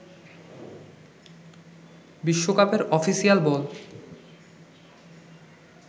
বিশ্বকাপের অফিসিয়াল বল